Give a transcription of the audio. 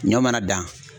Ɲɔ mana dan